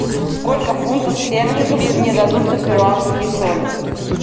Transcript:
сколько фунтов стерлингов мне дадут за перуанские соли